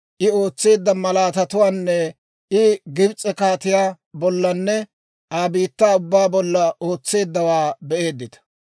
I ootseedda malaatatuwaanne I Gibs'e kaatiyaa bollanne Aa biittaa ubbaa bolla ootseeddawaa be'eeddita.